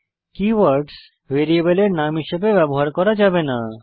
কিভোর্ডসহ ভ্যারিয়েবলের নাম হিসেবে ব্যবহার করা যাবে না